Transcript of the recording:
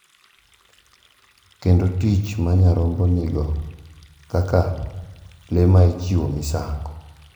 Kendo tich ma nyarombo nigo kaka le ma ichiwo misango.